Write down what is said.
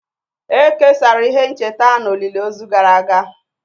E kesara ihe ncheta na olili ozu gara aga